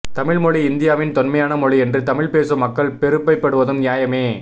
தமிழ் மொழி இந்தியாவின் தொன்மையான மொழி என்று தமிழ் பேசும் மக்கள் பெருமைப்படுவதும் நியாயமே